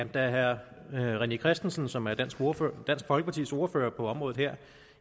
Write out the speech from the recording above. da herre rené christensen som er dansk folkepartis ordfører på området her